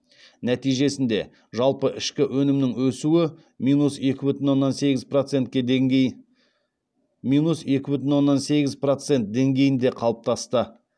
нәтижесінде жалпы ішкі өнімнің өсуі минус екі бүтін оннан сегіз процент деңгейінде қалыптасты